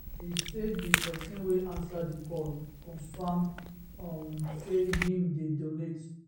e say di pesin wey ansa di call confam um say im dey donate